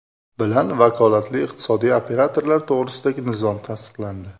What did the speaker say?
bilan Vakolatli iqtisodiy operatorlar to‘g‘risidagi nizom tasdiqlandi.